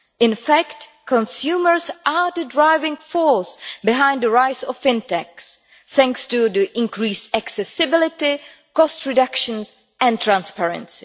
In fact, consumers are the driving force behind the rise of FinTechs, thanks to the increased accessibility, cost reductions and transparency.